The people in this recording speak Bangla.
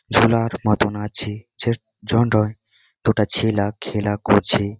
ঝোলার মতন আছে ছে জন্টই দুটো ছেলা খেলা করছে।